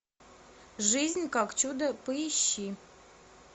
жизнь как чудо поищи